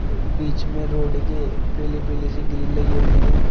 बीच में रोड के पीली पीली सी ग्रिल लगी हुई है।